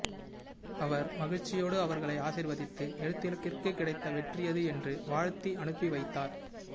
அவர் மகிழ்ச்சியோடு அவர்களை ஆசிர்வதித்து எழுத்துலகிற்குக் கிடைத்த வெற்றியது என்று வாழ்த்தி அனுப்பி வைத்தார்